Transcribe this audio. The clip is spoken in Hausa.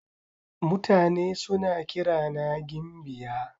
Mutane suna kirana gimbiya.